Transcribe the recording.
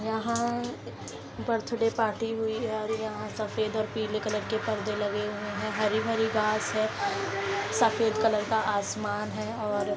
यहाँ birthday party हुई है और यहाँ सफेद और पीले कलर के पर्दे लगे हुए हैं हरी-भरी घाँस है सफेद कलर का आसमान है और --